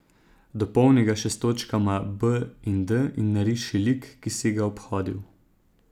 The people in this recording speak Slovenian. Dopolni ga še s točkama B in D in nariši lik, ki si ga obhodil.